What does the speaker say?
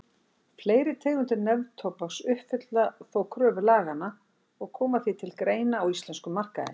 Fleiri tegundir neftóbaks uppfylla þó kröfur laganna og koma því til greina á íslenskum markaði.